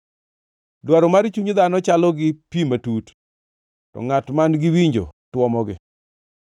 Dwaro mar chuny dhano chalo gi pi matut, to ngʼat man-gi winjo twomogi.